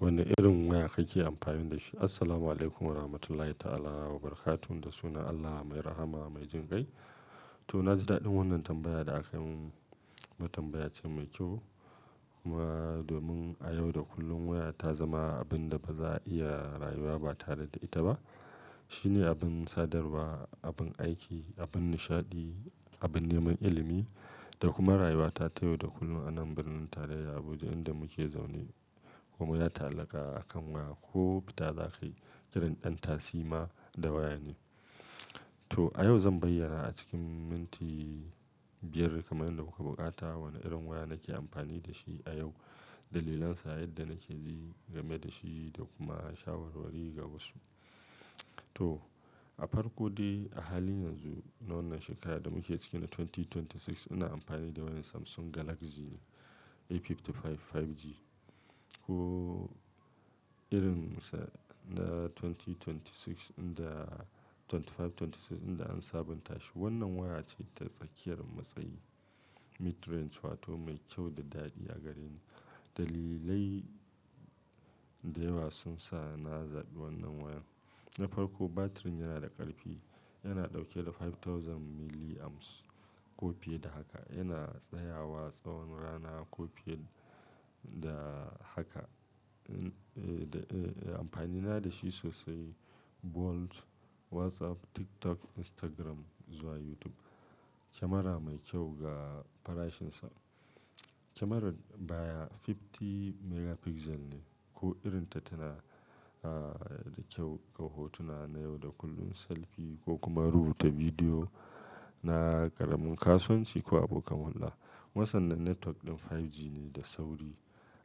Wane irin waya kake amfani da shi? Assalamualaikum warahmatullahi ta'ala wa barakatuh. Da sunan Allah mai rahama mai jingai. To na ji daɗin wannan tambaya da aka yi mun. Tambaya ce mai kyau. Kuma domin a yau da kullum waya ta zama abin da ba za'a iya rayuwa ba tare da ita ba. Shine abin sadarwa, abin aiki, abin nishaɗi, abin neman ilimi da kuma rayuwa ta ta yau da kullum a nan birnin tarayya Abuja inda muke zaune. Kuma ya ta'allaka akan waya ko fita za ka yi, ƙarin ɗan tasima da waya ne. To a yau zan bayyana a cikin minti biyar kamar yadda kuka buƙata wane irin waya nake amfani da shi a yau, dalilansa, yadda nake ji game da shi da kuma shawarwari ga wasu. To a farko dai a halin yanzu na wannan shekarar da muke ciki na dubu biyu da ashirin da shida ina amfani da wani Samsung Galaxy ne A55 5G. Ko irinsa na dubu biyu da ashirin da shida inda 25, 26 inda an sabunta shi. Wannan waya ce ta tsakiyar matsayi midrange wato mai kyau da daɗi a gareni. Dalilai da yawa sun sa na zaɓi wannan waya. Na farko batirin yana da ƙarfi. Yana ɗauke da dubu biyar milliamps ko fiye da haka. Yana tsayawa tsawon rana ko fiye da haka. Amfani na da shi sosai, Bold, WhatsApp, TikTok, Instagram zuwa YouTube. Kyamara mai kyau ga farashinsa. Kyamarar baya hamsin megapixel ne ko irinta tana da kyau ga hotuna na yau da kullum, selfi ko kuma rubuta bidiyo na ƙaramin kasuwanci ko abokan hulɗa. Kuma san nan network ɗin 5G ne da sauri.